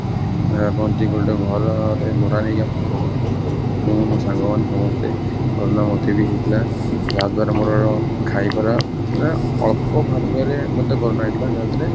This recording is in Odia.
ଅ କହନ୍ତି ଗୋଟେ ଘରରେ ଭଡା ନେଇକି ଆମେ ସବୁ ରହୁଥିଲୁ ମୁଁ, ମୋ ସାଙ୍ଗ ମାନେ ସମସ୍ତେ corona ମତେ ବି ହେଇଥିଲା ଯାହାଦ୍ୱାରା ମୋ ଖାଇବା ମାନେ ଅଳ୍ପ ମତେ corona ହେଇଥିଲା ଯାହାଥିରେ